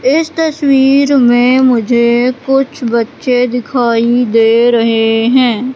इस तस्वीर में मुझे कुछ बच्चे दिखाई दे रहे हैं।